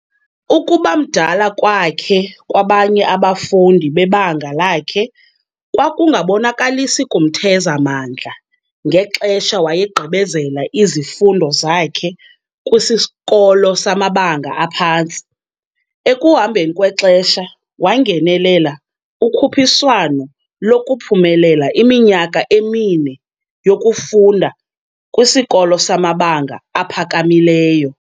Ukubamdala kwakhe kwabanye abafundi bebanga lakhe kwakungabonakalisi kumtheza mandla ngexesha wayegqibezela izifundo zakhe kwisikolo samabanga aphantsi, ekuhambeni kwexesha wangenelela ukhuphiswano lokuphumelela iminyaka emine yokufunda kwisikolo samabanga aphakamileyo.